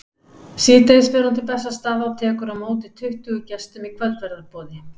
Síðdegis fer hún til Bessastaða og tekur á móti tuttugu gestum í kvöldverðarboði.